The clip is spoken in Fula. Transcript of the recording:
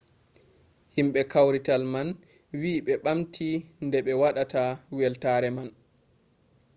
himɓe kawrital man wi ɓe ɓamti nde be waɗata weltaare man